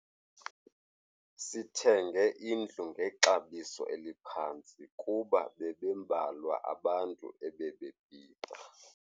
Sithenge indlu ngexabiso eliphantsi kuba bebembalwa abantu ebebebhida.